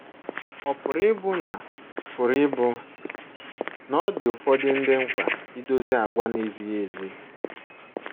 Ọ̀ pụrụ ịbụ na pụrụ ịbụ na ọ dị ụfọdụ ndị mkpa idozi àgwà na - ezighị ezi?